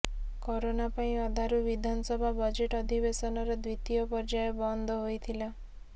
corona ପାଇଁ ଅଧାରୁ ବିଧାନସଭା ବଜେଟ ଅଧିବେଶନର ଦ୍ବିତୀୟ ପର୍ଯ୍ୟାୟ ବନ୍ଦ ହୋଇଥିଲା